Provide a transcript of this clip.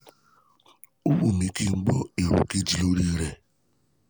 ó wù mih kí n gbọ́ èrò kejì lórí rẹ̀